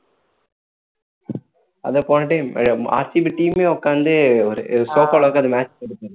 அதான் போன time RCB team ஏ உக்காந்து sofa ல உட்கார்ந்து match பாத்துட்டு இருந்தாங்க